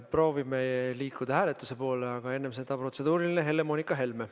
Proovime liikuda hääletuse poole, aga enne seda protseduuriline, Helle-Moonika Helme.